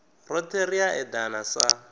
rothe ri a edana sa